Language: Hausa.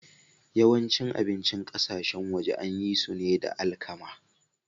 Yawancin abincin ƙasashen waje an yi su ne da alkama.